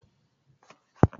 Habiba ce ta kawo ganyen gwandar?